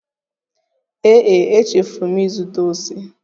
Ee e, echefuru m ịzụta ose